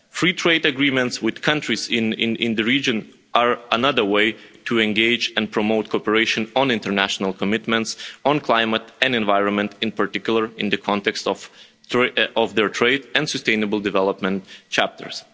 Free trade agreements with countries in the region are another way to engage and promote cooperation on international commitments on climate and the environment in particular, in the context of their trade and sustainable development chapters.